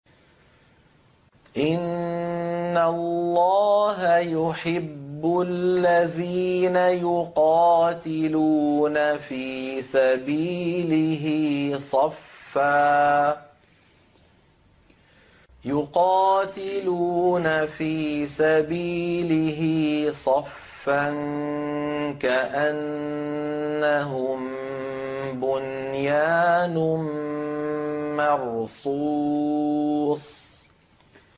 إِنَّ اللَّهَ يُحِبُّ الَّذِينَ يُقَاتِلُونَ فِي سَبِيلِهِ صَفًّا كَأَنَّهُم بُنْيَانٌ مَّرْصُوصٌ